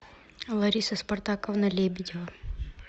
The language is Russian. лариса спартаковна лебедева